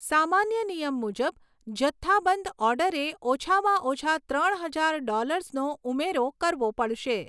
સામાન્ય નિયમ મુજબ, જથ્થાબંધ ઓર્ડરે ઓછામાં ઓછા ત્રણ હજાર ડૉલર્સનો ઉમેરો કરવો પડશે.